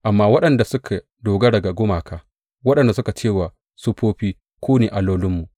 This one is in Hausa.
Amma waɗanda suka dogara ga gumaka, waɗanda suke ce wa siffofi, Ku ne allolinmu,’